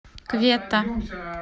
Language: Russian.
кветта